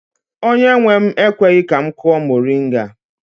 Onye nwe m ekweghi ka m kụọ moringa.